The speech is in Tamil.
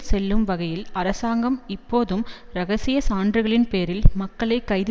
செல்லும் வகையில் அரசாங்கம் இப்போதும் இரகசிய சான்றுகளின் பேரில் மக்களை கைது